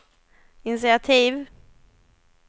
initiativ